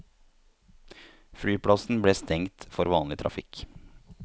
Flyplassen ble stengt for vanlig trafikk.